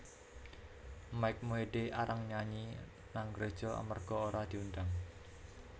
Mike Mohede arang nyanyi nang gereja amarga ora diundang